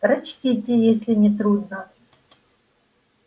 прочтите если не трудно